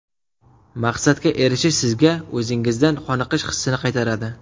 Maqsadga erishish sizga o‘zingizdan qoniqish hissini qaytaradi.